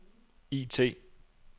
IT